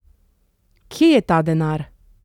Kje je ta denar?